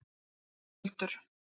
Skjöldur